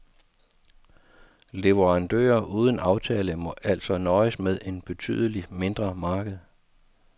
Leverandører uden aftale må altså nøjes med et betydeligt mindre marked.